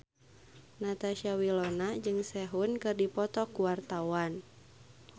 Natasha Wilona jeung Sehun keur dipoto ku wartawan